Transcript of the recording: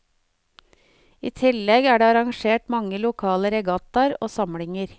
I tillegg er det arrangert mange lokale regattaer og samlinger.